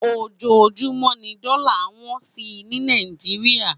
Ójójúmò ni dòlá n wòn si ni Nàijiriá